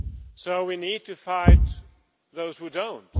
So we need to fight those who do not.